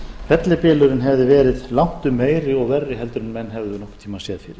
fellibylurinn hefði verið langtum meiri og verri en menn hefðu nokkurn tíma séð fyrir